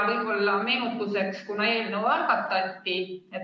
Lisan meenutuseks, kunas eelnõu algatati.